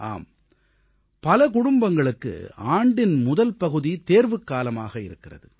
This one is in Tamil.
ஆம் பல குடும்பங்களுக்கு ஆண்டின் முதல் பகுதி தேர்வுக்காலமாக இருக்கிறது